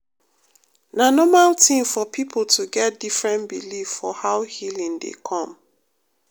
na normal tin for pipo to get different believe for how healing dey come.